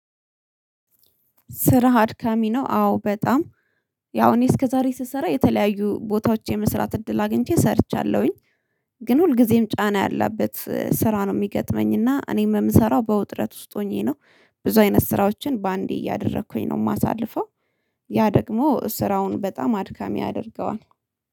ስራ አድካሚ ነው? አዎ በጣም። ያው እኔ እስከዛሬ ስሰራ የተለያዩ ቦታዎች የመስራት እድል አግኝቼ ሰርቻለሁኝ ግን ሁልጊዜም ጫና ያለበት ስራ ነው ሚገጥመኝ እና እኔም ምሰራው በውጥረት ውስጥ ሆኜ ነው ብዙ አይነት ስራዎችን በአንዴ እያደረኩኝ ነው የማሳልፈው ያ ደግሞ ስራውን በጣም አድካሚ ያደርገዋል።